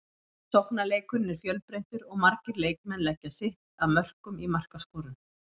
Sóknarleikurinn er fjölbreyttur og margir leikmenn leggja sitt að mörkum í markaskorun.